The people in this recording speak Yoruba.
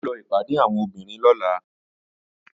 Mò ń lọ ìpàdé àwọn obìnrin lọ́la